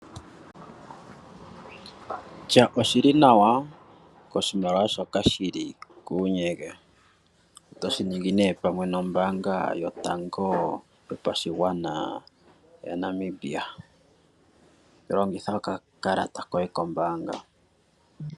Tya oshi li nawa koshimaliwa shoka shi li kuunyege. Oto shi ningi pamwe nOmbaanga Yotango yoPashigwana yaNamibia. Longitha okakalata koye kombaanga.